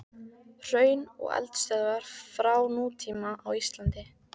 Hraun og eldstöðvar frá nútíma á Íslandi.